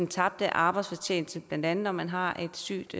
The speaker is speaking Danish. tabt arbejdsfortjeneste blandt andet når man har et sygt